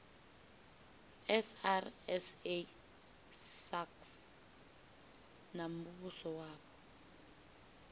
srsa sasc na muvhuso wapo